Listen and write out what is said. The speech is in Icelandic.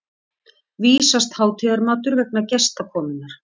vísast hátíðarmatur vegna gestakomunnar.